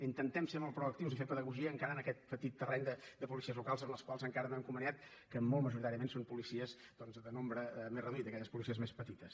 intentem ser molt proactius i fer pedagogia encara en aquest petit terreny de policies locals amb les quals encara no hem conveniat que molt majoritàriament són policies de nombre més reduït aquelles policies més petites